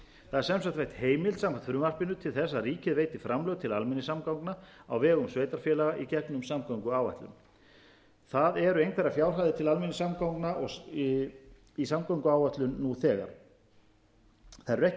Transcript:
veitt heimild samkvæmt frumvarpinu til þess að ríkið veiti framlög til almenningssamgangna á vegum sveitarfélaga í gegnum samgönguáætlun þar eru einhverjar fjárhæðir til almenningssamgangna í samgönguáætlun nú þegar þær eru ekki